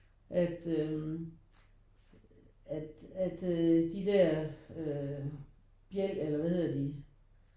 At øh at at øh de der øh bjæl eller hvad hedder de?